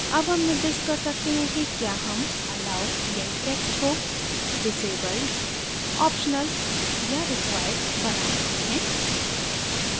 अब हम निर्दिष्ट कर सकते हैं कि क्या हम allow link text को disabled optional या required बना रहे हैं